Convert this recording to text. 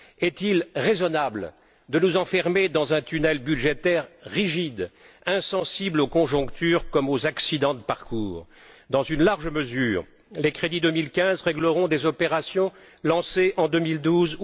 Est il raisonnable de nous enfermer dans un tunnel budgétaire rigide, insensible aux conjonctures, comme aux accidents de parcours? Dans une large mesure, les crédits 2015 régleront des opérations lancées en 2012